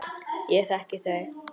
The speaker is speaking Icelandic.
Ég þekki þau.